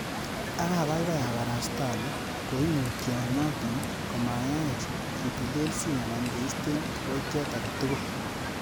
Ak abaibai abarasta ale koimutyo noton komayaech kitelelsi ana keisto kiboitiot agetugul.